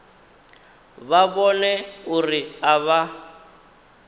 vha vhone uri a vha